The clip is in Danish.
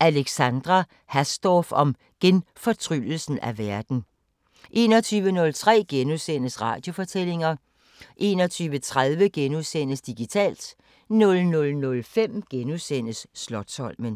Alexandra Hasdorf om genfortryllelse af verden * 21:03: Radiofortællinger * 21:30: Digitalt * 00:05: Slotsholmen *